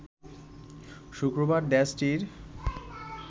শুক্রবার দেশটির